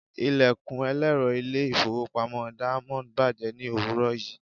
Ilẹ̀kùn ẹlẹ́rọ ilé-ìfowópamọ́ Diamond bàjẹ́ ní òwúrọ̀ yìí.